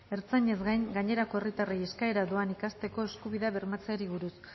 ertzainez gain gainerako herritarrei euskara doan ikasteko eskubidea bermatzeari buruz